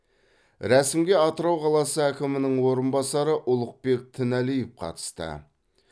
рәсімге атырау қаласы әкімінің орынбасары ұлықбек тіналиев қатысты